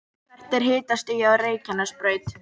hvert er hitastigið á reykjanesbraut